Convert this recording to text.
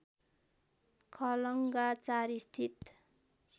खलङ्गा ४ स्थित